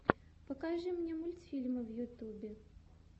покажи мне мультфильмы в ютюбе